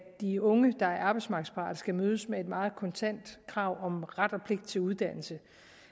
de unge der er arbejdsmarkedsparate skal mødes af et meget kontant krav om ret og pligt til uddannelse